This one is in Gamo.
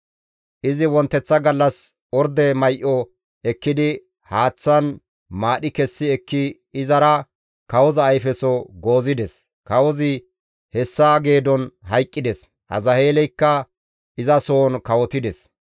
Izi wonteththa gallas orde may7o ekkidi haaththan maadhi kessi ekki izara kawoza ayfeso goozides; kawozi hessa geedon hayqqides; Azaheeleykka izasohon kawotides.